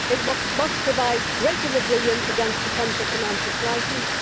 it must provide greater resilience against potential financial crises